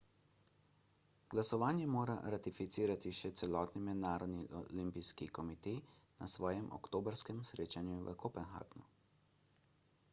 glasovanje mora ratificirati še celotni mednarodni olimpijski komite na svojem oktobrskem srečanju v kopenhagnu